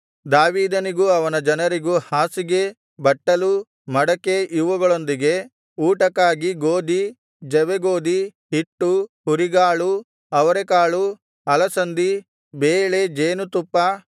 ದಾವೀದನಿಗೂ ಅವನ ಜನರಿಗೂ ಹಾಸಿಗೆ ಬಟ್ಟಲು ಮಡಕೆ ಇವುಗಳೊಂದಿಗೆ ಊಟಕ್ಕಾಗಿ ಗೋದಿ ಜವೆಗೋದಿ ಹಿಟ್ಟು ಹುರಿಗಾಳು ಅವರೆಕಾಳು ಅಲಸಂದಿ ಬೇಳೆ ಜೇನುತುಪ್ಪ